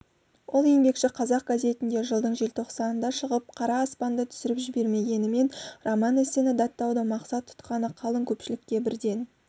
ол еңбекші қазақ газетінде жылдың желтоқсанында шығып қара аспанды түсіріп жібермегенімен роман-эссені даттауды мақсат тұтқаны қалың көпшілікке бірден